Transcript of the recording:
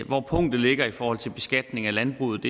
hvor punktet ligger i forhold til beskatning af landbruget